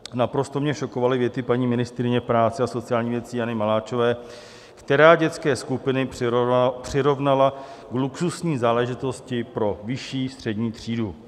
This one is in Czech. Naprosto mě šokovaly věty paní ministryně práce a sociálních věcí Jany Maláčové, která dětské skupiny přirovnala k luxusní záležitosti pro vyšší střední třídu.